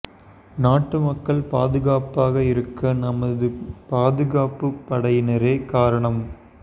நாட்டு மக்கள் பாதுகாப்பாக இருக்க நமது பாதுகாப்பு படையினரே காரணம்